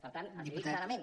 per tant els hi dic clarament